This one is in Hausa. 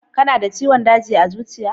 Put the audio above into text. Kana da ciwon daji na zuciya?